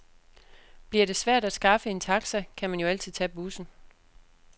Bliver det svært at skaffe en taxa, kan man jo altid tage bussen.